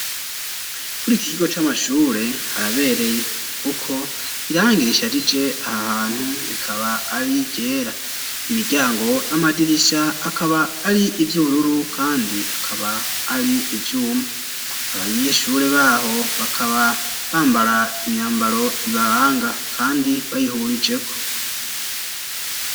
Kuri iki kigo c'amashure harabereye kuko irangi risharije aha hantu, rikaba ari iryera. Imiryango n'amadirisha akaba ari ivy'ururu kandi akaba ari ivyuma. Abanyeshure baho bakaba bambara imyambaro ibaranga kandi bayihurijeko.